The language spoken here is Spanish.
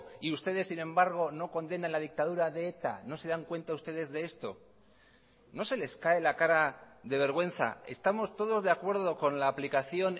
y ustedes sin embargo no condenan la dictadura de eta no se dan cuenta ustedes de esto no sé les cae la cara de vergüenza estamos todos de acuerdo con la aplicación